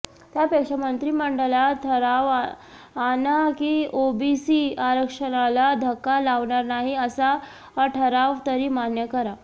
त्यापेक्षा मंत्रिमंडळात ठराव आणा की ओबीसी आरक्षणाला धक्का लावणार नाही असा ठराव तरी मान्य करा